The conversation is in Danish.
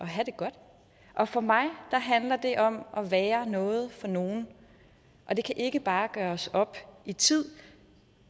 have det godt og for mig handler det om at være noget for nogen og det kan ikke bare gøres op i tid